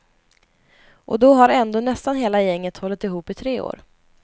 Och då har ändå nästan hela gänget hållit ihop i tre år.